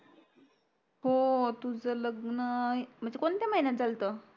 हो तुझं लग्न अं म्णजे कोणत्या महिन्यात झाल्त